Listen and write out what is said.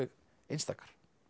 einstakar